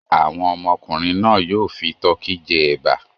Àwọn ọmọkùnrin náà yóò fi tọkí jẹ ẹ̀bà.